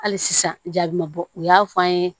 Hali sisan jaabi ma bɔ u y'a fɔ an ye